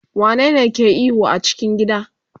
wane ne ke ihu a cikin gida?